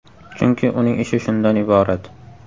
Chunki, uning ishi shundan iborat.